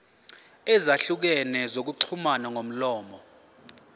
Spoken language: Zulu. ezahlukene zokuxhumana ngomlomo